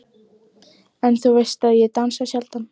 En þú veist að ég dansa sjaldan.